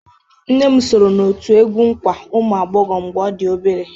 Nne m soro n'òtù egwú nkwa ụmụ ụmụagbọghọ mgbe ọ dị obere.